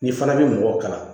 N'i fana bɛ mɔgɔ kala